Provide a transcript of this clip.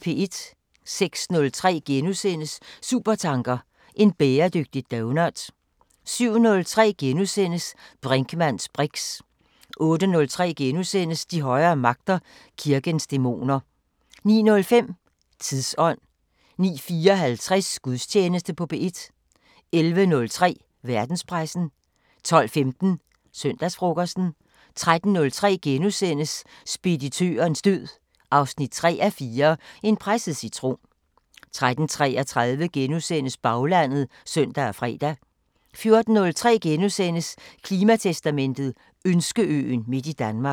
06:03: Supertanker: En bæredygtig doughnut * 07:03: Brinkmanns briks * 08:03: De højere magter: Kirkens dæmoner * 09:05: Tidsånd 09:54: Gudstjeneste på P1 11:03: Verdenspressen 12:15: Søndagsfrokosten 13:03: Speditørens død 3:4 – En presset citron * 13:33: Baglandet *(søn og fre) 14:03: Klimatestamentet: Ønskeøen midt i Danmark *